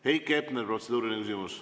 Heiki Hepner, protseduuriline küsimus.